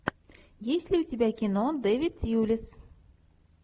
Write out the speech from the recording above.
есть ли у тебя кино дэвид тьюлис